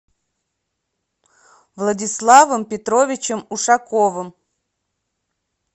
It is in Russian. владиславом петровичем ушаковым